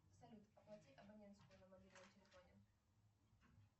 салют оплати абонентскую на мобильном телефоне